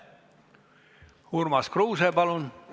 Urmas Kruuse, palun!